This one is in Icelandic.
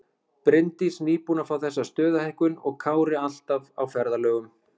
Bryndís nýbúin að fá þessa stöðuhækkun og Kári alltaf á ferðalögum.